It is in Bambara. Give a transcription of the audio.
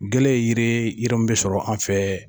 Gɛlɛ yiri yiri minn bɛ sɔrɔ an fɛ.